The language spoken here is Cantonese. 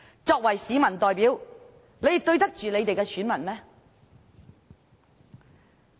作為市民代表，他們對得起選民嗎？